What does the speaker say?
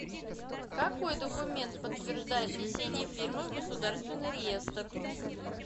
какой документ подтверждает внесение фирмы в государственный реестр